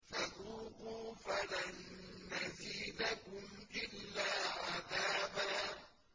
فَذُوقُوا فَلَن نَّزِيدَكُمْ إِلَّا عَذَابًا